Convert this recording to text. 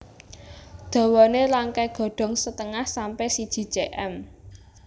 Dawané rangkai Godhong setengah sampe siji cm